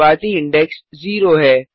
शुरूवाती index 0 है